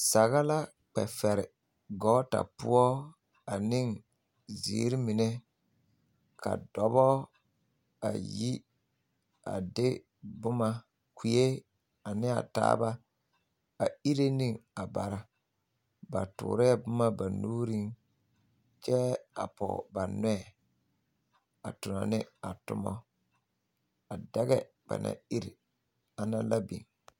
Saga la kpɛ fɛre gɔɔta poɔ aneŋ ziiri mine ka dɔbɔ a yi a de boma kue ane a taaba a ire neŋ a bara ba toorɛɛ boma ba nuuriŋ kyɛ a pɔge ba nɔɛ a tono ne a tomo a dɛgɛ ba naŋ iri ana la beŋ.